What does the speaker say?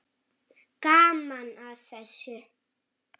Gaman að þessu.